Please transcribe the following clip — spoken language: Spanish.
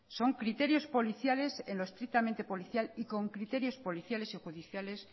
son criterios policiales en lo estrictamente policial y con criterios policiales y judiciales